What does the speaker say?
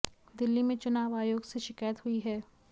दिल्ली में चुनाव आयोग से शिकायत हुई है